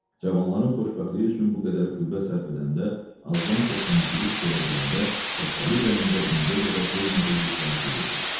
Cavanların xoşbəxtliyi üçün bu qədər qüvvə sərf edəndə, azdan-çoxdan bir iş görə biləndə Şəhbəli ürəyində indiyə qədər duymadığı hissləri duyurdu.